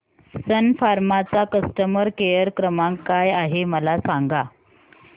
सन फार्मा चा customer care क्रमांक काय आहे मला सांगा